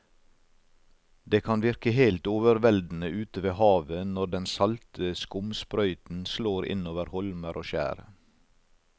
Det kan virke helt overveldende ute ved havet når den salte skumsprøyten slår innover holmer og skjær.